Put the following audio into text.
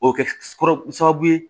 O bɛ kɛ kɔrɔ sababu ye